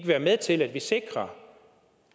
være med til at vi sikrer